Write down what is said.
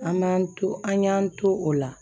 An m'an to an y'an to o la